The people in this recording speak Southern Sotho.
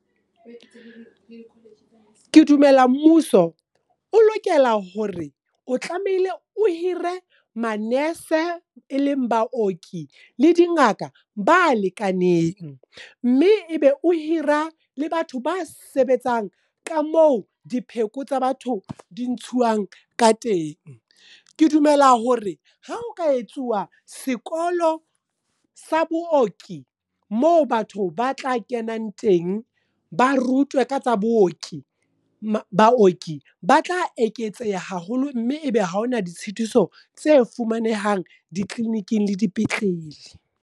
Ke dumela mmuso o lokela hore o tlamehile o hire manese, e leng baoki, le dingaka ba lekaneng. Mme ebe o hira le batho ba sebetsang, ka mo dipheko tsa batho di ntshuwang ka teng. Ke dumela hore ha o ka etsuwa sekolo sa booki, moo batho ba tla ke kenang teng. Ba rutwe ka tsa booki. Baoki ba tla eketseha haholo mme ebe ha hona ditshitiso tse fumanehang, dicliniking le dipetlele.